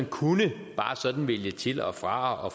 kunne vælge til og fra og